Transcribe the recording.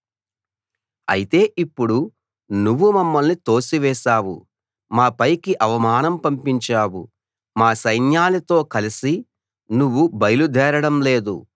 అయితే ఇప్పుడు నువ్వు మమ్మల్ని తోసివేశావు మా పైకి అవమానం పంపించావు మా సైన్యాలతో కలసి నువ్వు బయలుదేరడం లేదు